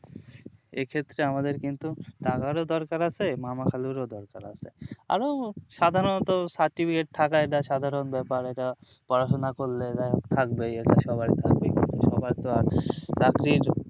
এ ক্ষেত্রে আমাদের কিন্তু টাকারও দরকার আছে মামা খালুর দরকার আছে আরো সাধারণত certificate থাকায় এটা সাধারণ ব্যাপার এটা পড়াশোনা করলে যাই হোক থাকবে সবারির থাকবে এখানে সবার তো আর চাকরির